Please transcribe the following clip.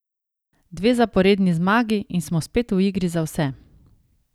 Dve zaporedni zmagi in smo spet v igri za vse.